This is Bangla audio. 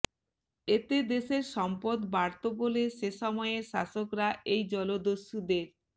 এতে দেশের সম্পদ বাড়ত বলে সে সময়ের শাসকেরা এই জলদস্যুদের